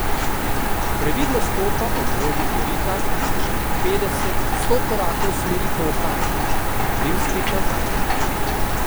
Previdno stopa ob robu korita kakšnih petdeset, sto korakov v smeri toka, potem spet nazaj.